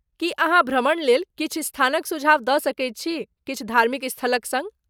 की अहाँ भ्रमणलेल किछु स्थानक सुझाव दऽ सकैत छी, किछु धार्मिक स्थलक सङ्ग।